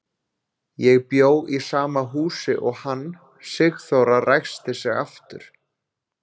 Ég bjó í sama húsi og hann, Sigþóra ræskti sig aftur.